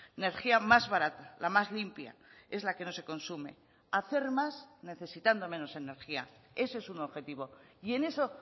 energía más barata la más limpia es la que no se consume hacer más necesitando menos energía ese es un objetivo y en eso